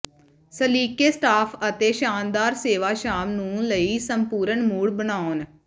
ਸਲੀਕੇ staff ਅਤੇ ਸ਼ਾਨਦਾਰ ਸੇਵਾ ਸ਼ਾਮ ਨੂੰ ਲਈ ਸੰਪੂਰਣ ਮੂਡ ਬਣਾਉਣ